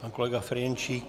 Pan kolega Ferjenčík.